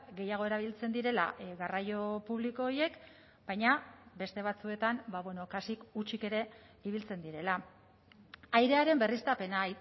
gehiago erabiltzen direla garraio publiko horiek baina beste batzuetan kasik hutsik ere ibiltzen direla airearen berriztapena